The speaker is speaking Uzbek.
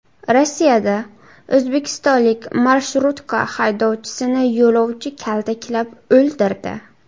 Rossiyada o‘zbekistonlik marshrutka haydovchisini yo‘lovchi kaltaklab o‘ldirdi.